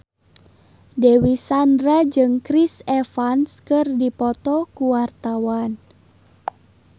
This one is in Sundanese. Dewi Sandra jeung Chris Evans keur dipoto ku wartawan